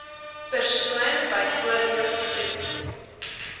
persoon byvoorbeeld vriend